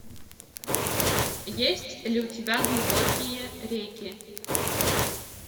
есть ли у тебя глубокие реки